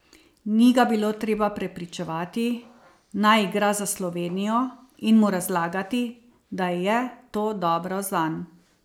Ni ga bilo treba prepričevati, naj igra za Slovenijo, in mu razlagati, da je to dobro zanj.